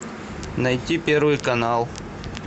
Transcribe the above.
найти первый канал